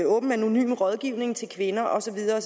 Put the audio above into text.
åben anonym rådgivning til kvinder og så videre